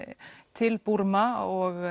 til Búrma og